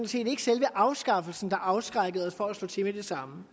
set ikke selve afskaffelsen der afskrækkede os fra at slå til med det samme